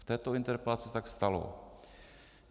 V této interpelaci se tak stalo.